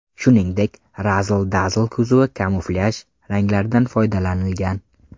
Shuningdek, Razzle Dazzle kuzovi kamuflyaj ranglaridan foydalanilgan.